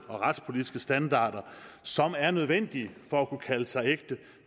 og retspolitiske standarder som er nødvendige for at kunne kalde sig ægte